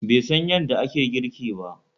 Be san yanda ake girki ba